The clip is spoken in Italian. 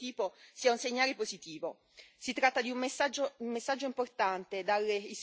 Penso che un riferimento esplicito a fenomeni di questo tipo sia un segnale positivo.